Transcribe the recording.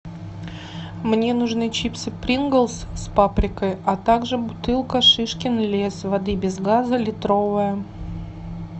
мне нужны чипсы принглс с паприкой а также бутылка шишкин лес воды без газа литровая